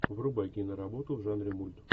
врубай киноработу в жанре мульт